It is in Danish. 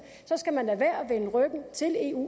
skal man lade være med at vende ryggen til eu